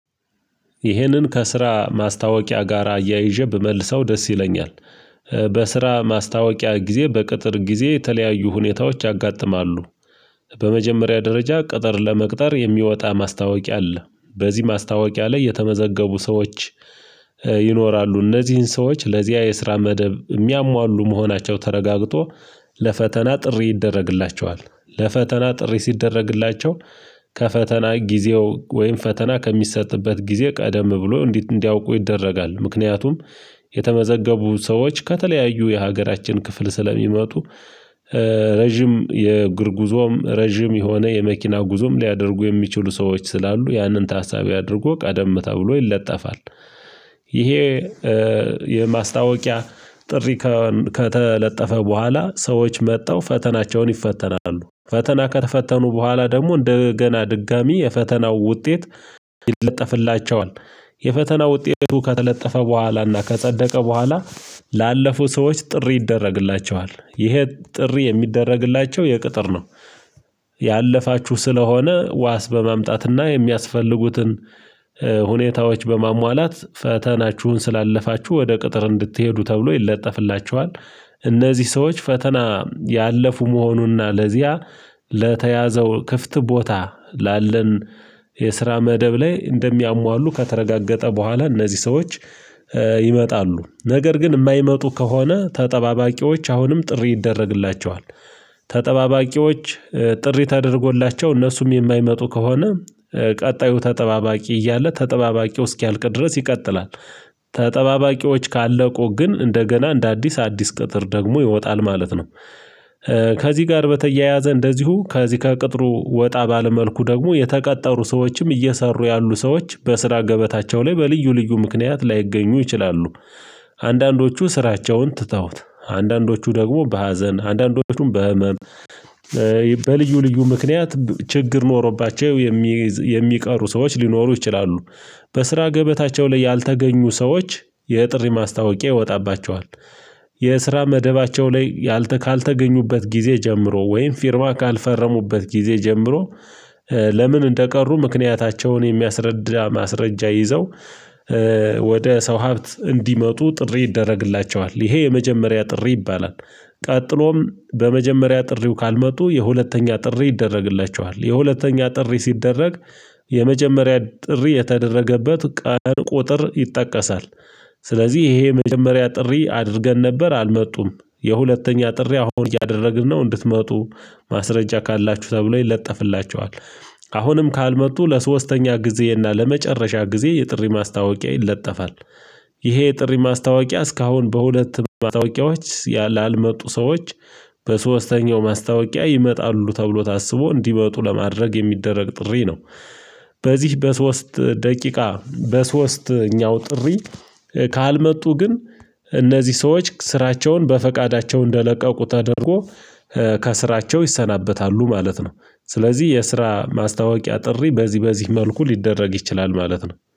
ይህንን ከስራ ማስታወቂያ ጋር አያይዤ ብመልሰው ደስ ይለኛል። በስራ ማስታወቂያ ጊዜ፣ በቅጥር ጊዜ የተለያዩ ሁኔታዎች ያጋጥማሉ። በመጀመሪያ ደረጃ፣ ቅጥር ለመቅጠር የሚወጣ ማስታወቂያ አለ፤ በዚህ ማስታወቂያ ላይ የተመዘገቡ ሰዎች ይኖራሉ፤ እነዚህ ሰዎች ለዚያ የስራ መደብ የሚያሟሉ መሆናቸው ተረጋግጦ ለፈተና ጥሪ ይደረግላቸዋል፤ ለፈተና ጥሪ ሲደረግላቸው ከፈተና ጊዜው ወይም ፈተና ከሚሰጥበት ጊዜ ቀደም ብሎ እንዲያውቁ ይደረጋል፤ ምክንያቱም የተመዘገቡ ሰዎች ከተለያዩ የሀገራችን ክፍሎች ስለሚመጡ ረጅም የእግር ጉዞም፣ ረጅም የሆነ የመኪና ጉዞም ሊያደርጉ የሚችሉ ሰዎች ስላሉ፣ ያንን ታሳቢ አድርጎ ቀደም ተብሎ ይለጠፋል። ይሄ የማስታወቂያ ጥሪ ከተለጠፈ በኋላ ሰዎች መጥተው ፈተናቸውን ይፈተናሉ፤ ፈተና ከተፈተኑ በኋላ ደግሞ እንደገና ድጋሚ የፈተናው ውጤት ይለጠፍላቸዋል። የፈተና ውጤቱ ከተለጠፈ በኋላና ከጸደቀ በኋላ ላለፉ ሰዎች ጥሪ ይደረግላቸዋል፤ ይሄ ጥሪ የሚደረግላቸው ለቅጥር ነው። "ያለፋችሁ ስለሆነ ዋስ በማምጣትና የሚያስፈልጉትን ሁኔታዎች በማሟላት፣ ፈተናችሁን ስላለፋችሁ ወደ ቅጥር እንድትሄዱ" ተብሎ ይለጠፍላቸዋል። ነዚህ ሰዎች ፈተና ያለፉ መሆኑና ለዚያ ለተያዘው ክፍት ቦታ ላለን የስራ መደብ ላይ እንደሚያሟሉ ከተረጋገጠ በኋላ እነዚህ ሰዎች ይመጣሉ፤ ነገር ግን የማይመጡ ከሆነ ተጠባባቂዎች አሁንም ጥሪ ይደረግላቸዋል። ተጠባባቂዎች ጥሪ ተደርጎላቸው፣ እነሱም የማይመጡ ከሆነ ቀጣዩ ተጠባባቂ እያለ፣ ተጠባባቂው እስኪያልቅ ድረስ ይቀጥላል። ተጠባባቂዎች ካለቁ ግን እንደገና እንደ አዲስ፣ አዲስ ቅጥር ደግሞ ይወጣል ማለት ነው። ከዚህ ጋር በተያያዘ እንደዚሁ ከዚህ ከቅጥሩ ወጣ ባለ መልኩ ደግሞ፣ የተቀጠሩ ሰዎችም እየሰሩ ያሉ ሰዎች በስራ ገበታቸው ላይ በልዩ ልዩ ምክንያት ላይገኙ ይችላሉ። አንዳንዶቹ ስራቸውን ትተውት፣ አንዳንዶቹ ደግሞ በሐዘን፣ አንዳንዶቹም በሕመም በልዩ ልዩ ምክንያት ችግር ኖሮባቸው የሚቀሩ ሰዎች ሊኖሩ ይችላሉ። በስራ ገበታቸው ላይ ያልተገኙ ሰዎች፣ የጥሪ ማስታወቂያ ይወጣባቸዋል። የስራ መደባቸው ላይ ያልተ ካልተገኙበት ጊዜ ጀምሮ ወይም ፊርማ ካልፈረሙበት ጊዜ ጀምሮ ለምን እንደቀሩ ምክንያታቸውን የሚያስረዳ ማስረጃ ይዘው ወደ ሰው ሀብት እንዲመጡ ጥሪ ይደረግላቸዋል፤ ይሄ የመጀመሪያ ጥሪ ይባላል። ቀጥሎም በመጀመሪያ ጥሪው ካልመጡ፣ የሁለተኛ ጥሪ ይደረግላቸዋል። የሁለተኛ ጥሪ ሲደረግ፣ የመጀመሪያ ጥሪ የተደረገበት ቀን ቁጥር ይጠቀሳል። ስለዚህ "ይሄ የመጀመሪያ ጥሪ አድርገን ነበር አልመጡም፤ የሁለተኛ ጥሪ አሁን እያደረግን ነው፤ እንድትመጡ ማስረጃ ካላችሁ" ተብሎ ይለጠፍላቸዋል። አሁንም ካልመጡ፣ ለሦስተኛ ጊዜ እና ለመጨረሻ ጊዜ የጥሪ ማስታወቂያ ይለጠፋል። ይሄ የጥሪ ማስታወቂያ፣ እስካሁን በሁለት ማስታወቂያዎች ያላልመጡ ያልመጡ ሰዎች በሦስተኛው ማስታወቂያ ይመጣሉ ተብሎ ታስቦ እንዲመጡ ለማድረግ የሚደረግ ጥሪ ነው። በዚህ በሶስት ደቂቃ በሦስተኛው ጥሪ ካልመጡ ግን እነዚህ ሰዎች ስራቸውን በፈቃዳቸው እንደለቀቁት አድርጎ ከሥራቸው ይሰናበታሉ ማለት ነው። ስለዚህ የስራ ማስታወቂያ ጥሪ በዚህ በዚህ መልኩ ሊደረግ ይችላል ማለት ነው።